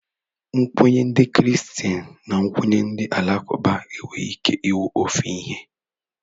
Nkwenye ndị Kristen na nkwenye ndị alakụba enweghị ike ịwụ ofe ihe.